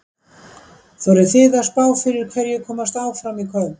Þorið þið að spá fyrir um hverjir komast áfram í kvöld?